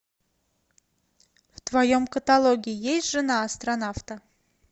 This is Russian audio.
в твоем каталоге есть жена астронавта